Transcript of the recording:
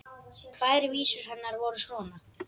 Tvær vísur hennar voru svona: